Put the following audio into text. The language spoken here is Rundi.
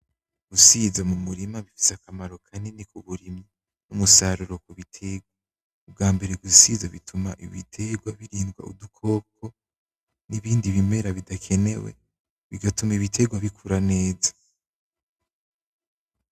Gusiza mumurima bifese akamaro kanini kuburimyi; umusaruro kubiterwa. Ubwambere gusiza bituma ibigwa birindwa udukoko, n'ibindi bimera bidakenewe, bigatuma ibitegwa bikura neza.